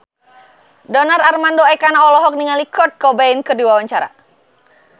Donar Armando Ekana olohok ningali Kurt Cobain keur diwawancara